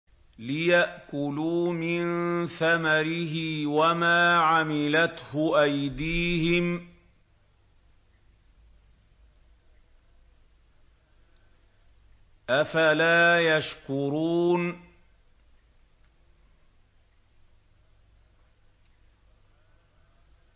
لِيَأْكُلُوا مِن ثَمَرِهِ وَمَا عَمِلَتْهُ أَيْدِيهِمْ ۖ أَفَلَا يَشْكُرُونَ